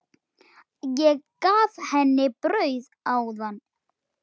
Ég gaf henni brauð áðan.